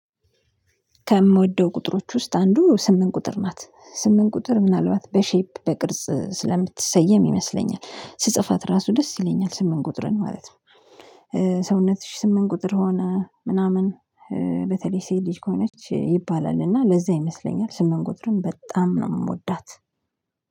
ከምወደው ቁጥሮች ውስጥ አንዱ ስምንት ቁጥር ናት ስምንት ቁጥር ምናልባት በሼፕ ለቅርጽ ስለምትሰየም ይመስለኛል ስጽፋት ራሱ ደስ ይለኛል ስምንት ቁጥርን ማለት ነው። ሰውነትሽ ስምንት ቁጥር ሆነ ምናምን። በተለይ ሴት ልጅ ከሆነች ይባላል እና ለዛ ይመስለኛል ስምንት ቁጥርን በጣም ነው የምወዳት።